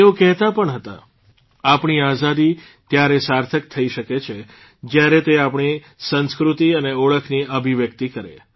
તેઓ કહેતા પણ હતા આપણી આઝાદી ત્યારે સાર્થક થઇ શકે છે જયારે તે આપણી સંસ્કૃતિ અને ઓળખની અભિવ્યક્તિ કરે